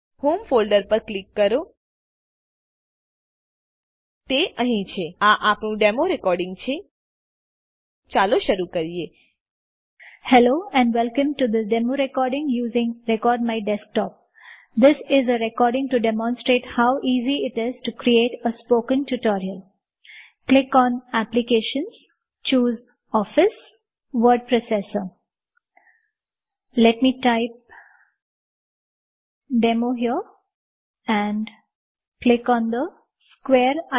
home folder પર click કરોતે અહી છેઆ આપણું ડેમો રેકોડીંગ છેચાલો શરુ કરીએ